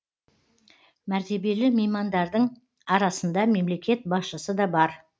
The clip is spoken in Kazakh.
мәртебелі меймандардың арасында мемлекет басшысы да бар